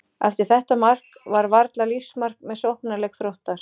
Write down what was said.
Eftir þetta mark var varla lífsmark með sóknarleik Þróttar.